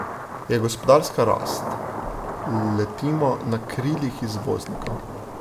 Je gospodarska rast, letimo na krilih izvoznikov.